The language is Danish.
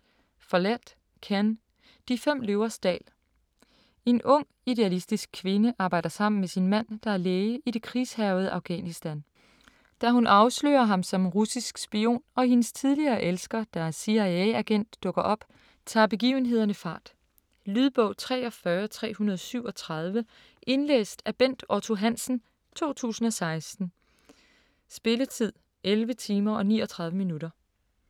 Follett, Ken: De fem løvers dal En ung idealistisk kvinde arbejder sammen med sin mand, der er læge, i det krigshærgede Afghanistan. Da hun afslører ham som russisk spion, og hendes tidligere elsker, der er CIA-agent, dukker op, tager begivenhederne fart. Lydbog 43337 Indlæst af Bent Otto Hansen, 2016. Spilletid: 11 timer, 39 minutter.